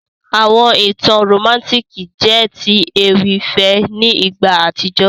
Àwọn ìtàn romantiki jẹ ti ewì ìfẹ́ ni ìgbà àtíjó.